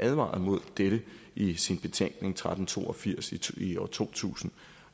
advarede imod dette i sin betænkning tretten to og firs i år 2000